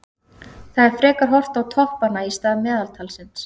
Það er frekar horft á toppanna í stað meðaltalsins.